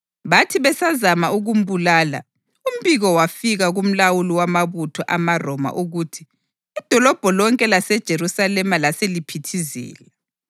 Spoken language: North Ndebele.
Bathi besazama ukumbulala, umbiko wafika kumlawuli wamabutho amaRoma ukuthi idolobho lonke laseJerusalema laseliphithizela.